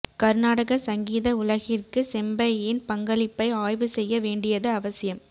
கர்நாடக சங்கீத உலகிற்கு செம்பையின் பங்களிப்பை ஆய்வு செய்ய வேண்டியது அவசியம்